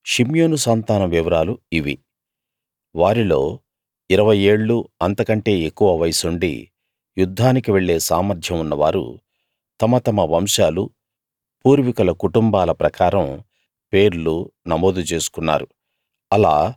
షిమ్యోను సంతానం వివరాలు ఇవి వారిలో ఇరవై ఏళ్ళూ అంతకంటే ఎక్కువ వయస్సుండి యుద్ధానికి వెళ్ళే సామర్థ్యం ఉన్నవారు తమ తమ వంశాలూ పూర్వీకుల కుటుంబాల ప్రకారం పేర్లు నమోదు చేసుకున్నారు